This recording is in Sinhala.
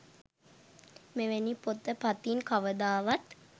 මෙවැනි පොත පතින් කවදාවත්